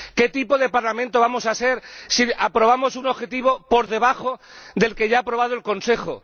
¿Qué tipo de Parlamento vamos a ser si aprobamos un objetivo por debajo del que ya ha aprobado el Consejo?